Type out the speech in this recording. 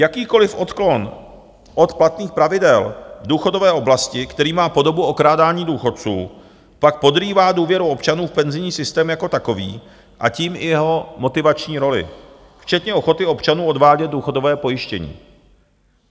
Jakýkoliv odklon od platných pravidel v důchodové oblasti, který má podobu okrádání důchodců, pak podrývá důvěru občanů v penzijní systém jako takový a tím i jeho motivační roli, včetně ochoty občanů odvádět důchodové pojištění.